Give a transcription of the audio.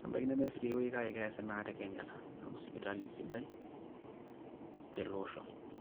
nebaiki nemeesi tiai wueji kake eesi naa te Kenyatta amu sipitali sidai tele osho.